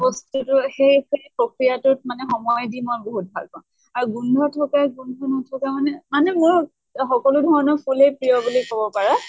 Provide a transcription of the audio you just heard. বস্তুটো সেই সেই প্ৰক্ৰিয়াটোত মানে সময় দি মই বহুত ভাল পাওঁ। আৰু গোন্ধ থকা, গোন্ধ নথকা মানে মোৰ সকলো ধৰণৰ ফুলে প্ৰিয় বুলি কʼব পাৰা